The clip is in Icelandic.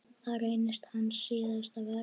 Það reynist hans síðasta verk.